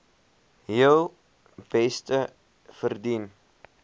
heel beste verdien